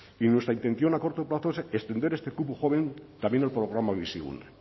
y nuestra intención a corto plazo es extender este cupo joven también el programa bizigune